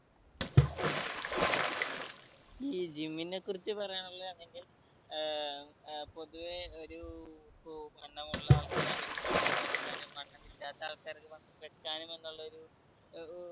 ഈ gym നെ കുറിച്ച് പറയാനുള്ളത് അതിന്റെ ഏർ ഏർ പൊതുവെ ഒരു വണ്ണമുള്ള ആൾക്കാർ ആണെങ്കിൽ വണ്ണം കുറക്കാനും വണ്ണം ഇല്ലാത്ത ആൾക്കാർ ആണെങ്കിൽ വെക്കാനും എന്നുള്ള ഒരു ഏർ